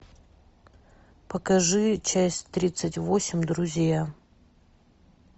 покажи часть тридцать восемь друзья